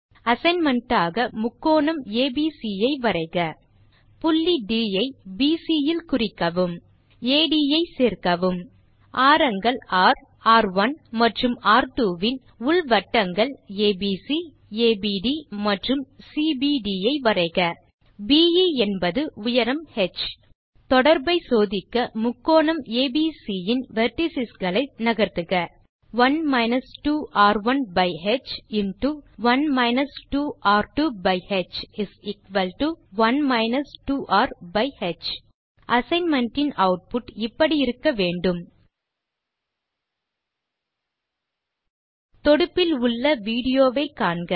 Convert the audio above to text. assignment ஆக முக்கோணம் ABC ஐ வரைக புள்ளி ட் ஐ பிசி இல் குறிக்கவும் அட் ஐ சேர்க்கவும் ஆரங்கள் ர் ர்1 மற்றும் ர்2 இன் உள் வட்டங்கள் ஏபிசி ஏபிடி மற்றும் சிபிடி ஐ வரைக பே என்பது உயரம் ஹ் தொடர்பை சோதிக்க முக்கோணம் ஏபிசி இன் வெர்ட்டிஸ் களை நகர்த்துக 1 2r1ஹ்1 2r2ஹ் 1 2rஹ் அசைன்மென்ட் இன் ஆட்புட் இப்படி இருக்க வேண்டும் தொடுப்பில் உள்ள விடியோ வை காண்க